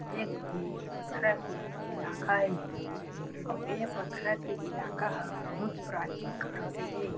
एक ठी पथरा के इलाका हे अउ ए पथरा के इलाका ह बहुत प्राचीन काल के हे।